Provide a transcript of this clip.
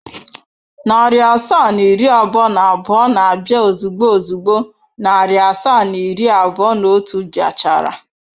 Narị asaa na iri abụọ na abụọ na-abịa ozugbo ozugbo narị asaa na iri abụọ na otu bịa chara.